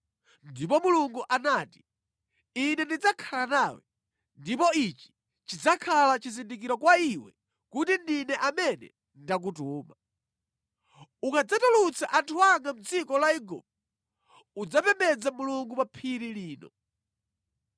Ndipo Mulungu anati, “Ine ndidzakhala nawe, ndipo ichi chidzakhala chizindikiro kwa iwe kuti ndine amene ndakutuma; Ukadzatulutsa anthu anga mʼdziko la Igupto, udzapembedza Mulungu pa phiri lino.”